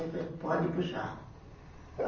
Ele falou, pode puxar.